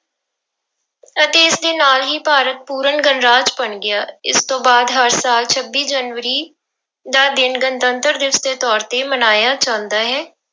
ਅਤੇ ਇਸਦੇ ਨਾਲ ਹੀ ਭਾਰਤ ਪੂਰਨ ਗਣਰਾਜ ਬਣ ਗਿਆ, ਇਸ ਤੋਂ ਬਾਅਦ ਹਰ ਸਾਲ ਛੱਬੀ ਜਨਵਰੀ ਦਾ ਦਿਨ ਗਣਤੰਤਰ ਦਿਵਸ ਦੇ ਤੌਰ ਤੇ ਮਨਾਇਆ ਜਾਂਦਾ ਹੈ।